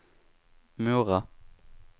Mora